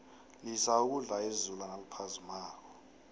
lisa ukudla izulu naliphazimako